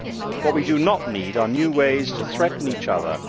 What we do not need are new ways to threaten each other.